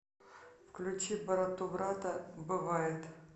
включи братубрата бывает